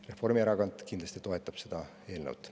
Reformierakond kindlasti toetab seda eelnõu.